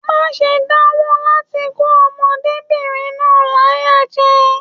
Má ṣe danwo láti kó ọmọdébinrin náà láyà jẹ!